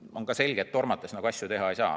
Ja on ka selge, et tormates asju teha ei saa.